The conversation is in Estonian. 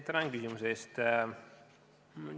Tänan küsimuse eest!